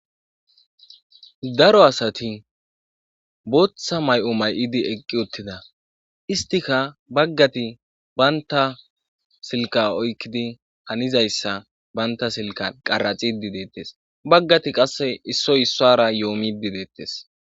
Daro asati booththa may7o may7idi eqqi uttida istika baggati banta silka oykkidi hanizayssa banta silka qaraxidi deettes baggati qasse issoy issuwaa harayoo immiiddi deettes.